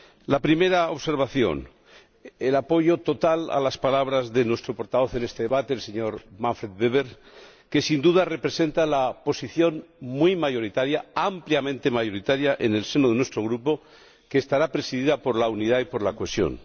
La primera observación el apoyo total a las palabras de nuestro portavoz en este debate, el señor Manfred Weber, que sin duda representa la posición muy mayoritaria, ampliamente mayoritaria, en el seno de nuestro Grupo, que estará presidida por la unidad y por la cohesión.